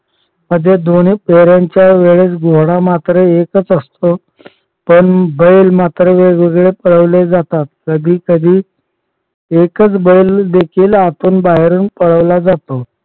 मध्ये दोन्ही फेरांच्या वेळेस घोडा मात्र एकच असतो. पण बैल मात्र वेगवेगळे पळवले जातात. कधी कधी एकच बैल आतून बाहेरून पळवला जातो.